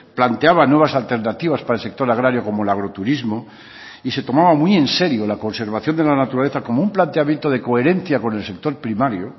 planteaba nuevas alternativas para el sector agrario como el agroturismo y se tomaba muy en serio la conservación de la naturaleza como un planteamiento de coherencia con el sector primario